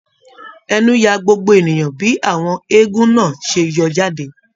Ẹnu yà gbogbo ènìyàn bí àwọn eégún náà ṣe yọ jáde.